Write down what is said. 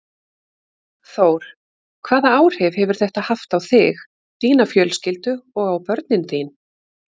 Þór: Hvaða áhrif hefur þetta haft á þig, þína fjölskyldu og á börnin þín?